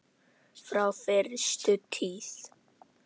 Frá fyrstu tíð.